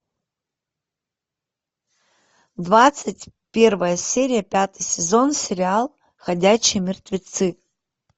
двадцать первая серия пятый сезон сериал ходячие мертвецы